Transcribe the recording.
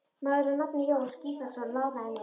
Maður að nafni Jón Gíslason lánaði mér.